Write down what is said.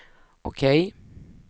OK